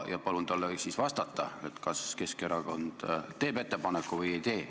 Palun talle ka siis vastata, kas Keskerakond teeb ettepaneku või ei tee.